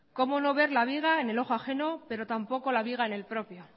cómo no ver la viga en el ojo ajeno pero tampoco la viga en el propio